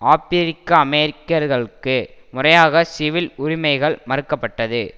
ஆப்பிரிக்க அமெரிக்கர்களுக்கு முறையாக சிவில் உரிமைகள் மறுக்க பட்டது